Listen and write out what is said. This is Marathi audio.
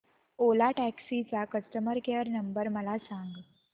ओला टॅक्सी चा कस्टमर केअर नंबर मला सांग